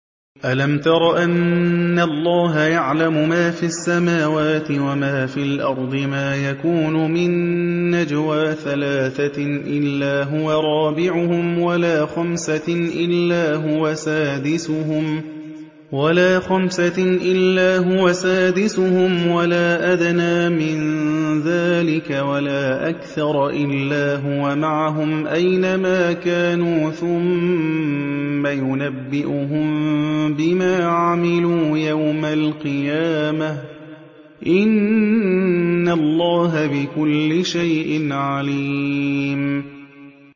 أَلَمْ تَرَ أَنَّ اللَّهَ يَعْلَمُ مَا فِي السَّمَاوَاتِ وَمَا فِي الْأَرْضِ ۖ مَا يَكُونُ مِن نَّجْوَىٰ ثَلَاثَةٍ إِلَّا هُوَ رَابِعُهُمْ وَلَا خَمْسَةٍ إِلَّا هُوَ سَادِسُهُمْ وَلَا أَدْنَىٰ مِن ذَٰلِكَ وَلَا أَكْثَرَ إِلَّا هُوَ مَعَهُمْ أَيْنَ مَا كَانُوا ۖ ثُمَّ يُنَبِّئُهُم بِمَا عَمِلُوا يَوْمَ الْقِيَامَةِ ۚ إِنَّ اللَّهَ بِكُلِّ شَيْءٍ عَلِيمٌ